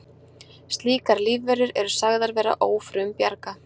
Slíkar lífverur eru sagðar vera ófrumbjarga.